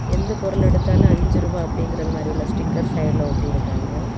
எந்த பொருள் எடுத்தாலும் அஞ்சு ரூபா அப்படிங்கற மாதிரி உள்ள ஸ்டிக்கர் சைடுல ஒட்டி இருக்காங்க.